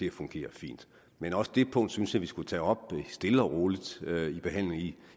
at fungere fint men også det punkt synes jeg vi skulle tage op stille og roligt